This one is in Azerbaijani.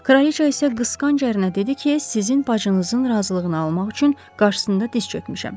Kraliça isə qısqanc ərinə dedi ki, sizin bacınızın razılığını almaq üçün qarşısında diz çökmüşəm.